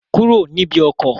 Kúrò níbi ọkọ̀!